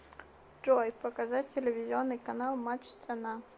джой показать телевизионный канал матч страна